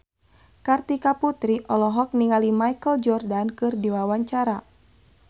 Kartika Putri olohok ningali Michael Jordan keur diwawancara